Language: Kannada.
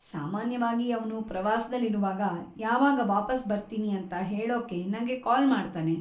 ಸಾಮಾನ್ಯವಾಗಿ ಅವ್ನು ಪ್ರವಾಸ್ದಲ್ಲಿರುವಾಗ ಯಾವಾಗ ವಾಪಸ್‌ ಬರ್ತೀನಿ ಅಂತ ಹೇಳೋಕೆ ನಂಗೆ ಕಾಲ್‌ ಮಾಡ್ತಾನೆ.